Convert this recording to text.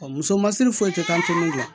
Muso masiri foyi tɛ k'an te n la